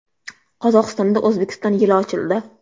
Qozog‘istonda O‘zbekiston yili ochildi .